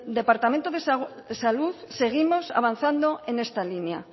departamento de salud seguimos avanzando en esta línea